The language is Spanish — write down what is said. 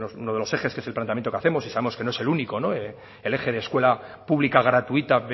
uno de los ejes que es el planteamiento que hacemos y sabemos que no es el único el eje de escuela pública gratuita